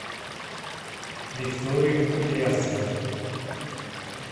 викторию кудрявцеву